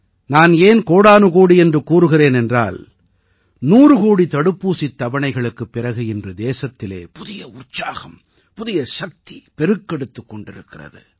நான் ஏன் கோடானுகோடி என்று கூறுகிறேன் என்றால் 100 கோடி தடுப்பூசித் தவணைகளுக்குப் பிறகு இன்று தேசத்திலே புதிய உற்சாகம் புதிய சக்தி பெருக்கெடுத்துக் கொண்டிருக்கிறது